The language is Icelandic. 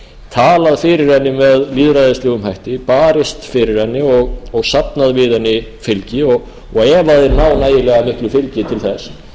talað fyrir henni með lýðræðislegum hætti barist fyrir henni og safnað við hana fylgi degi ef þeir ná nægilega miklu fylgi til þess